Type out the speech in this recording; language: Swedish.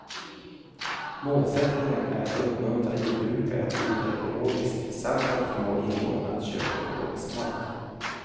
Målsättningen är att uppmuntra jordbrukare att odla ekologiskt samt att förmå invånarna att köpa ekologisk mat.